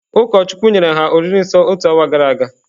Ụkọchukwu nyere ha oriri nsọ otu awa gara aga.